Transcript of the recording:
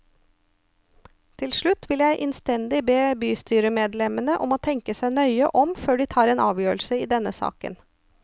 Til slutt vil jeg innstendig be bystyremedlemmene om å tenke seg nøye om før de tar en avgjørelse i denne saken.